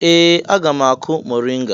Ee! Aga m akụ mọrịnga.